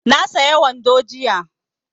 Na saya wando jiya